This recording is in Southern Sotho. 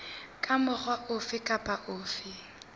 ka mokgwa ofe kapa ofe